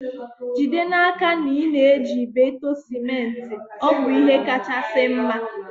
Jide n'aka na ị na-eji ibeto sementi, ọ bụ ihe kachasị mma